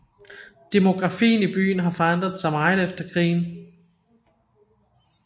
Demografien i byen har forandret sig meget efter krigen